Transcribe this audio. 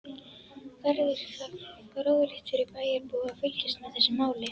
Verður því fróðlegt fyrir bæjarbúa að fylgjast með þessu máli.